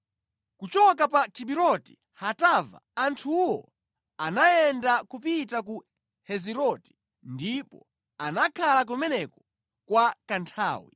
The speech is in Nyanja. Kuchoka pa Kibiroti Hatava anthuwo anayenda kupita ku Heziroti ndipo anakhala kumeneko kwa kanthawi.